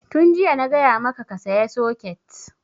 Tun jiya na gaya maka ka saya soket!